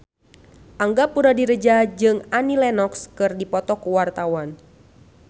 Angga Puradiredja jeung Annie Lenox keur dipoto ku wartawan